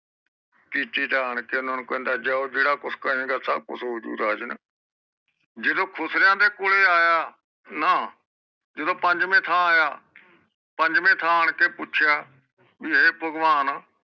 ਕੀਤੀ ਤਾਂ ਆਂਨ ਕੇ ਓਹਨਾ ਨੂੰ ਕਹਿੰਦਾ ਜਾਓ ਜਿਹੜਾ ਕੁਜ ਕਹਿੰਦਾ ਸਬੱਬ ਕੁਜ ਹੋਜੂ ਰਾਜਨ ਜਿਦੋ ਖੁਸਰਿਆਂ ਦੇ ਕੋਲ਼ੇ ਆਯਾ ਨਾ ਜਿਦੋ ਪੰਜਵੀ ਥਾਂ ਆਯਾ ਪੰਜਵੀ ਥਾਂ ਆਣ ਕੇ ਪੁੱਛਿਆ ਬੀ ਇਹ ਭਗਵਾਨ